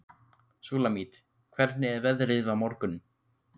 Súlamít, hvernig er veðrið á morgun?